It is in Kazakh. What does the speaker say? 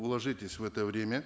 уложитесь в это время